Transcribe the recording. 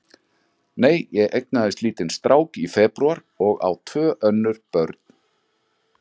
Nei, ég eignaðist lítinn strák í febrúar og á tvö önnur börn.